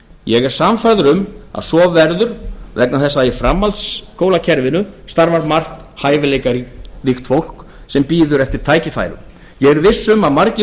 ég er sannfærður um að svo verður vegna þess að í framhaldsskólakerfinu starfar margt hæfileikaríkt fólk sem bíður eftir tækifærum ég er viss um að margir